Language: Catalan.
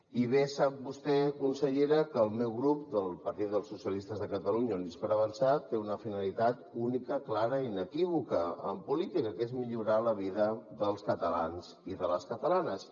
i bé sap vostè consellera que el meu grup el partit dels socialistes de catalunya units per avançar té una finalitat única clara i inequívoca en política que és millorar la vida dels catalans i de les catalanes